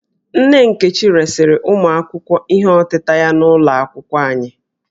Nne Nkechi resịrị ụmụ akwụkwọ ihe ọtịta ya n'ụlọ akwụkwọ anyị